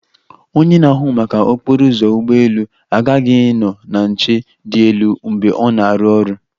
Onye na-ahụ maka okporo ụzọ ụgbọ elu aghaghị ịnọ na nche dị elu mgbe ọ na-arụ ọrụ